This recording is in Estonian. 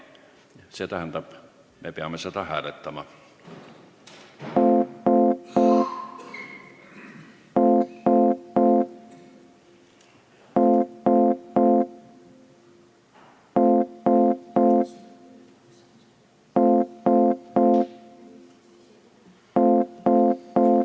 See tähendab, et me peame seda hääletama.